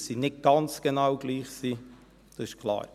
Dass sie nicht ganz genau gleich sind, das ist klar.